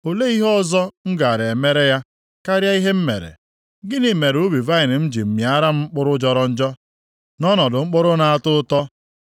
Olee ihe ọzọ m gaara emere ya karịa ihe m mere? Gịnị mere ubi vaịnị m ji mịara m mkpụrụ jọrọ njọ nʼọnọdụ mkpụrụ na-atọ ụtọ?